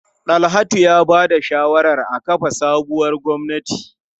Dalhatu ya ba da shawarar a kafa sabuwar gwamnati.